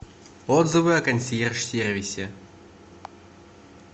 отзывы о консьерж сервисе